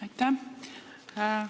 Aitäh!